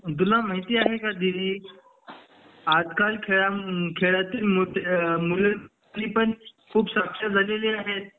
तुला माहिती आहे का दीदी आजकाल खेळां मध्ये खेळातील मुते अ मुले ती पण खूप साक्षर झालेली आहेत